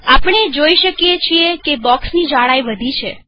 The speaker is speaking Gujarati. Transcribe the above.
આપણે જોઈ શકીએ છીએ બોક્ષની જાડાઈ વધી છે